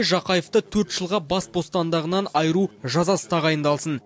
жақаевты төрт жылға бас бостандығынан айыру жазасы тағайындалсын